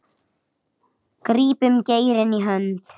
grípum geirinn í hönd